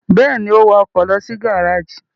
Bẹ́ẹ̀ ni, ó wa ọkọ̀ lọ sí gárájì.